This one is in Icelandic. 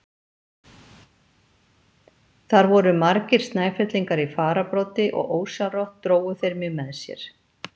Þar voru margir Snæfellingar í fararbroddi og ósjálfrátt drógu þeir mig með sér.